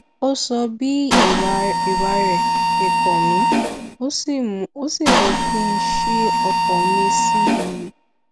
ó sọ bí ìwà rẹ ṣe kàn mí ó sì mú kí n ṣí ọkàn mi sí i